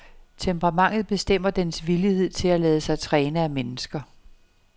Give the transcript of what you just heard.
Temperamentet bestemmer dens villighed til at lade sig træne af mennesker.